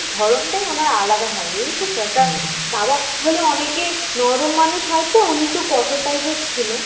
ধরনটাই ওনার আলাদা হয় বুঝেছ তো একটা বাবা হলে অনেকে নরম মানুষ হয় তো উনি একটু কঠোর টাইপের ছিল